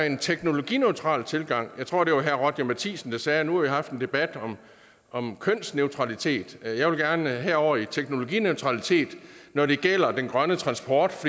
en teknologineutral tilgang jeg tror det var herre roger matthisen der sagde at nu har vi haft en debat om kønsneutralitet og jeg gerne over i teknologineutralitet når det gælder den grønne transport